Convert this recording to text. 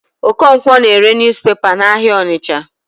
Okonkwo na-ere newspaper n'ahịa Ọnịcha.